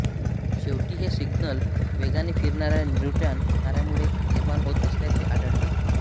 शेवटी हे सिग्नल वेगाने फिरणाऱ्या न्यूट्रॉन ताऱ्यामुळे निर्माण होत असल्याचे आढळले